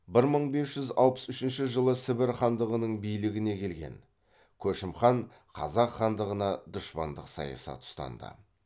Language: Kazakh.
бір мың бес жүз алпыс үшінші жылы сібір хандығының билігіне келген көшім хан қазақ хандығына дұшпандық саясат ұстанды